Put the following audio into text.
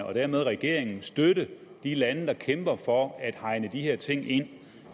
og dermed regeringen støtte de lande der kæmper for at hegne de her ting ind